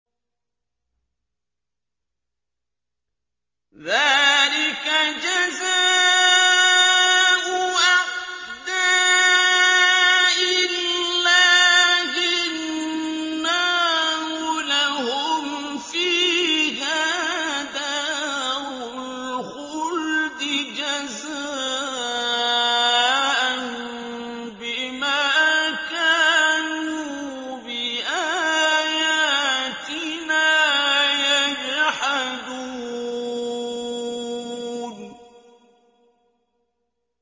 ذَٰلِكَ جَزَاءُ أَعْدَاءِ اللَّهِ النَّارُ ۖ لَهُمْ فِيهَا دَارُ الْخُلْدِ ۖ جَزَاءً بِمَا كَانُوا بِآيَاتِنَا يَجْحَدُونَ